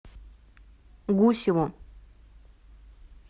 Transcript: гусеву